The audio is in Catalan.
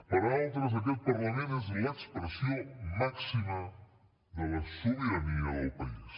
per a altres aquest parlament és l’expressió màxima de la sobirania del país